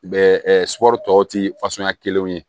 Bɛ sɔr'o tɔ ti fasuguya kelenw ye